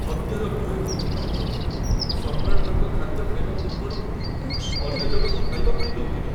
ହତ୍ୟାର ଭୟ ରହିଥିବା ହେତୁ ସମ୍ରାଟ ତାଙ୍କ ଖାଦ୍ୟ ଖାଇବା ପୂର୍ବରୁ ଅନ୍ୟ ଜଣକୁ ଖାଇବା ପାଇଁ ଦଉଥିଲେ।